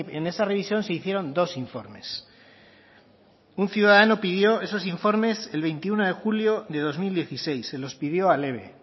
en esa revisión se hicieron dos informes un ciudadano pidió esos informes el veintiuno de julio de dos mil dieciséis se los pidió al eve